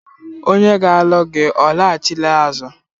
Onye ga-alụ gi ọ laghachila azụ?